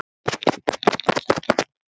Hann hélt sem betur fer.